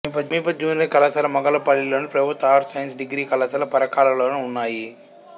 సమీప జూనియర్ కళాశాల మొగుళ్ళపల్లిలోను ప్రభుత్వ ఆర్ట్స్ సైన్స్ డిగ్రీ కళాశాల పరకాలలోనూ ఉన్నాయి